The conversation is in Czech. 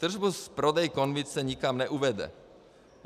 Tržbu z prodeje konvice nikam neuvede.